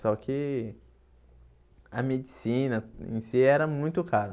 Só que a medicina em si era muito cara.